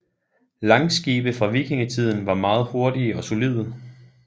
Langskibe fra vikingetiden var meget hurtige og solide